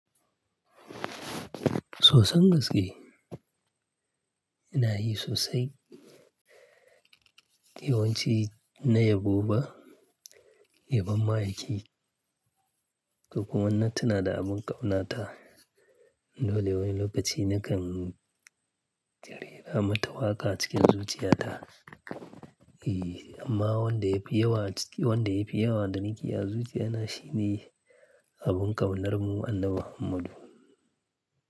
Soson gaske, ina yi sosai yawanci na yabo ba, ya bon mayaki, ko kuma in na tuna da abun ƙaunata. Dole wani lokaci nakan ta rera ma ta waƙa cikin zuciyata. Eh, amma wanda yafi yawa ciki--wanda yafi yawa da na ke a zuciya na shine abun ƙaunar mu Annabi Muhammadu.